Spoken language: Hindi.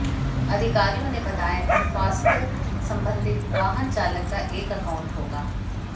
अधिकारियों ने बताया कि फास्टैग संबंधित वाहन चालक का एक अकाउंट होगा